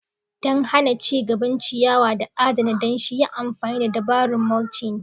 Don hana ci gaban ciyawa da adana danshi, yi amfani da dabarun mulching.